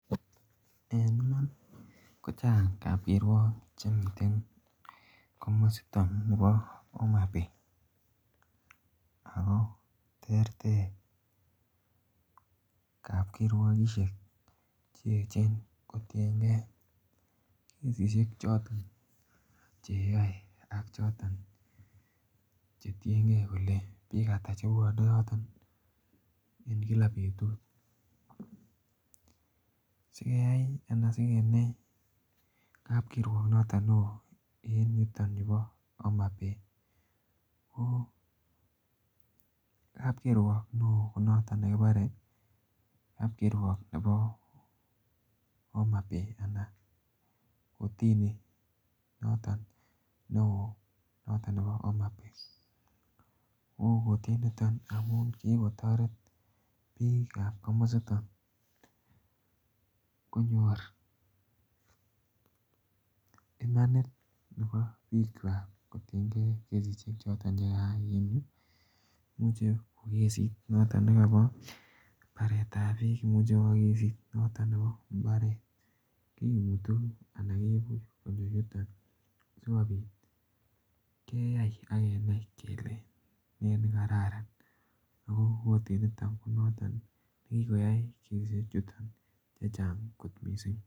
En iman kochang' kapkirwok chemiten komositon nibo homa bay, ak ko terter kapkirwokishek cheechen kotieng'e kesishek choton cheyoe ak chetieng'e kolee biik ata chepwone yoton en kila betut, sieyai anan sikenai kapkirwok inoton neoo en yuton yubo Homa Bay ko kapkirwok neoo ko noton nekibore kapkirwok nebo hama bay anan kotini noton neoo noton nebo Homa Bay, ko kotini initon kotam ko kikotoret biikab komositon konyor imanit nebo biikwak kotienge kesisiek choton chekakeib muche kko kesit noton nekobo mbaretab biik muche ko kokesit noton nebo mbaret kimutu anan kekur konyo yuton sikobit keyai ak kenai kelee ne nekararan ak ko kotini niton ko nekikoyai kesinit kenyishek chechang' mising'.